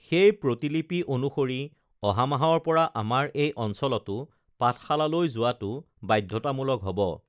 সেই প্ৰতিলিপি অনুসৰি অহামাহৰ পৰা আমাৰ এই অঞ্চলতো পাঠশালালৈ যোৱাটো বাধ্যতামূলক হব